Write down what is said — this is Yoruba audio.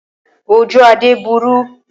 Oju Ade buru.